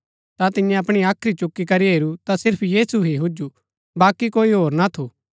ता तिन्यै अपणी हाख्री चुकी करी हेरू ता सीर्फ यीशु ही हुजु बाकी कोई होर ना थू